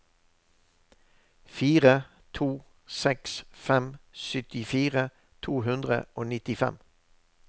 fire to seks fem syttifire to hundre og nittifem